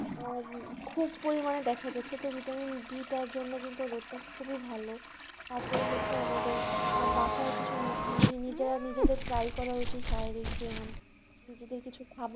আর খুব পরিমানে দেখা যাচ্ছে তো vitamin D তার জন্য কিন্তু রোদটা খুবই ভালো তারপেরে হচ্ছে আমাদের আহ বাসায় কিছু নি~ নিজেরা নিজেদের try করা উচিত, শারীরিক ব্যায়াম নিজেদের কিছু খাবা~